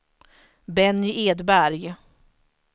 Benny Edberg